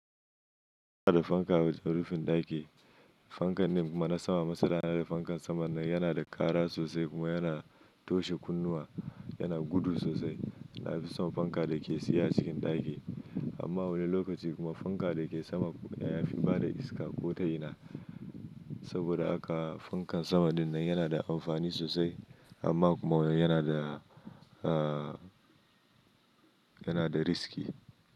Ina da fanka a rufin ɗaki. Fankan nan kuma na sama masara. Fankan saman nan yana da ƙara sosai kuma yana toshe kunnuwa. Yana gudu sosai. Na fi son fanka da ke tsaye a cikin ɗaki, amma wani lokaci kuma fanka da ke sama ya fi bada iska ko tayina. Saboda haka fankan sama dinnan yana da amfani sosai amma kuma yana da, aah yana da riski.